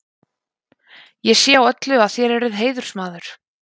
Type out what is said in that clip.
Ég sé á öllu, að þér eruð heiðursmaður.